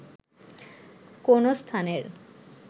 কোনো স্থানের